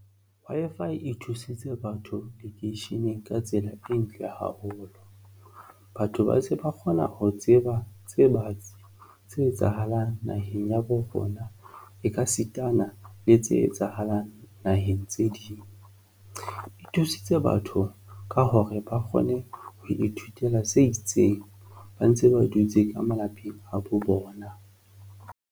Wi-Fi e thusitse batho lekeisheneng ka tsela e ntle haholo. Batho ba se ba kgona ho tseba tse batsi tse etsahalang naheng ya bo rona e ka sitana na le tse etsahalang naheng tse ding e thusitse batho ka hore ba kgone ho ithutela se itseng ba ntse ba dutse ka malapeng a bo bona.